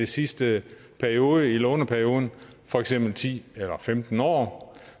sidste periode i låneperioden for eksempel ti eller femten år